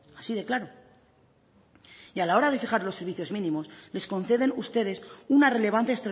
así de claro y a la hora de fijar los servicios mínimos les conceden ustedes una relevancia